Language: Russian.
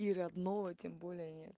и родного тем более нет